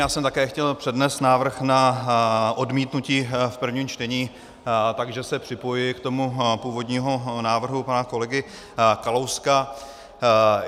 Já jsem také chtěl přednést návrh na odmítnutí v prvním čtení, takže se připojuji k tomu původnímu návrhu pana kolegy Kalouska.